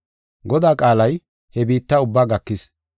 Godaa qaalay he biitta ubbaa gakis.